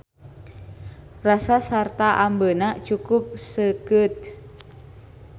Rasa sarta ambeuna cukup seukeut.